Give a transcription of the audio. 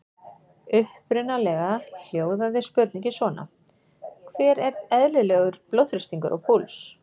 Upprunalega hljóðaði spurningin svona: Hver er eðlilegur blóðþrýstingur og púls?